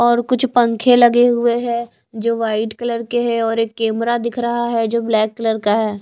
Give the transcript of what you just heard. और कुछ पंखे लगे हुए हैं जो वाइट कलर के हैं और एक केमरा दिख रहा है जो ब्लैक कलर का है।